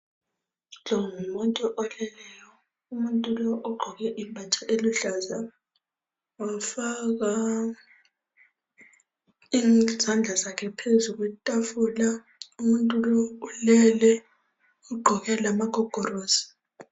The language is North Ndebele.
Lo ngumuntu oleleyo. Ugqoke ibhatshi eluhlaza, wafaka izandla zakhe phezu kwetafula. Ugqoke lamagogorosi.